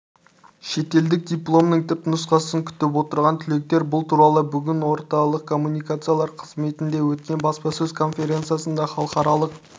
шетелдік дипломының түпнұсқасын күтіп отырған түлектер бұл туралы бүгінорталық коммуникациялар қызметінде өткен баспасөз конференциясында халықаралық